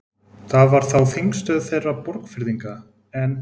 Þar var þá þingstöð þeirra Borgfirðinga, en